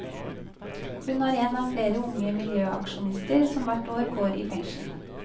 Hun er en av flere unge miljøaksjonister som hvert år går i fengsel.